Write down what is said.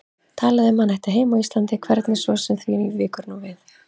Talaði um að hann ætti heima á Íslandi, hvernig svo sem því víkur nú við.